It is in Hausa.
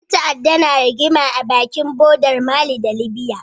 Ƴan ta'adda na rigima a bakin bodar mali da libya